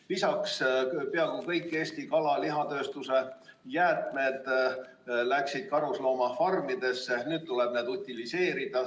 Lisaks, peaaegu kõik Eesti kala- ja lihatööstuse jäätmed läksid varem karusloomafarmidesse, nüüd tuleb need utiliseerida.